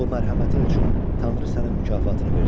Bu mərhəmətin üçün Tanrı sənin mükafatını versin.